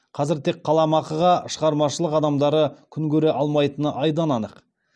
қазір тек қаламақыға шығармашылық адамдары күн көре алмайтыны айдан анық